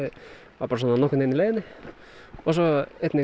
var svona nokkurn veginn í leiðinni svo einnig